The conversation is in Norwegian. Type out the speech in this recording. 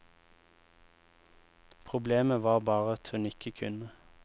Problemet var bare at hun ikke kunne.